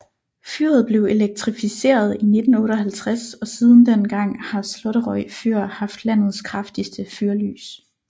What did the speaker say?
Fyret blev elektrificeret i 1958 og siden den gang har Slåtterøy fyr haft landets kraftigste fyrlys